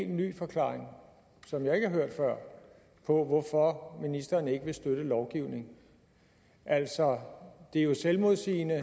ny forklaring som jeg ikke har hørt før på hvorfor ministeren ikke vil støtte lovgivningen altså det er jo selvmodsigende